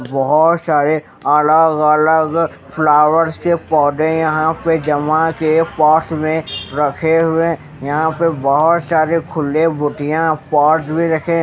बहुत सारे अलग-अलग के पौधे यहां पे जमा के पास में रखे हुए यहां पे बहुत सारे खुले बुटियां पॉर्ड्स भी रखें---